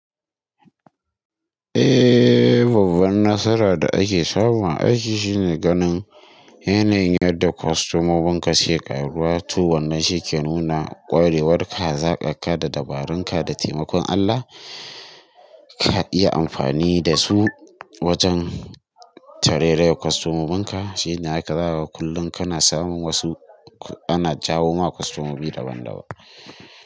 Eh, babban nasara da ake samu a aiki shine ganin yanayin yadda kwasto momin ka suke ƙaruwa. Tu wannan shi ke nuna ƙwarewarka, hazaƙar ka da dabarun ka. Da taimakon Allah, ka iya amfani da su wajen tarai rayar kwastomomin ka. Shi ne haka zakaga kullum kana samun wasu, ana jawo maka kwastomomi daban-daban.